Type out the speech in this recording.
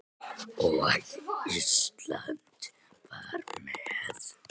Og Ísland var með.